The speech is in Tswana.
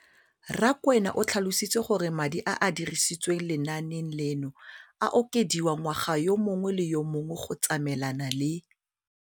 Rakwena o tlhalositse gore madi a a dirisediwang lenaane leno a okediwa ngwaga yo mongwe le yo mongwe go tsamaelana le